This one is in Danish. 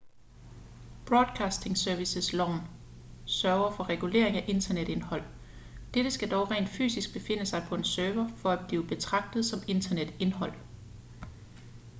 broadcasting services-loven sørger for reguleringen af internetindhold dette skal dog rent fysisk befinde sig på en server for at blive betragtet som internetindhold